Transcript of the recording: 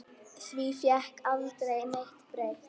Því fékk aldrei neitt breytt.